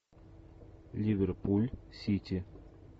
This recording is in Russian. ливерпуль сити